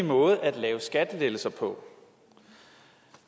måde at lave skattelettelser på